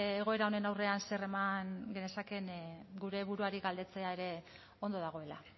egoera honen aurrean zer eman genezakeen gure buruari galdetzea ere ondo dagoela